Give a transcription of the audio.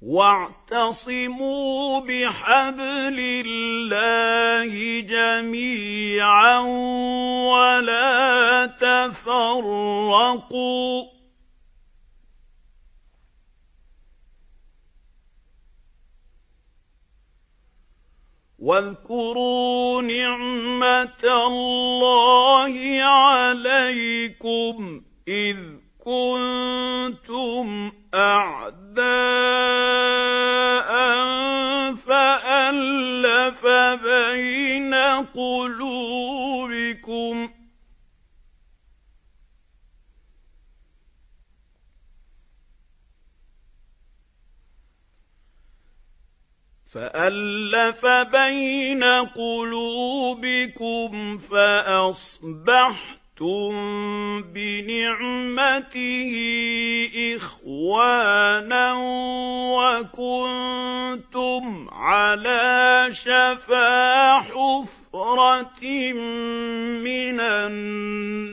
وَاعْتَصِمُوا بِحَبْلِ اللَّهِ جَمِيعًا وَلَا تَفَرَّقُوا ۚ وَاذْكُرُوا نِعْمَتَ اللَّهِ عَلَيْكُمْ إِذْ كُنتُمْ أَعْدَاءً فَأَلَّفَ بَيْنَ قُلُوبِكُمْ فَأَصْبَحْتُم بِنِعْمَتِهِ إِخْوَانًا وَكُنتُمْ عَلَىٰ شَفَا حُفْرَةٍ مِّنَ